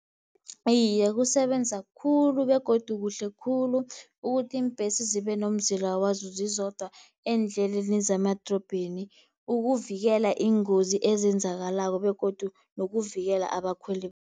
Iye, kusebenza khulu begodu kuhle khulu, ukuthi iimbhesi zibe nomzila wazo zizodwa eendleleni zemadorobheni, ukuvikela iingozi ezenzakalako begodu nokuvikela abakhweli.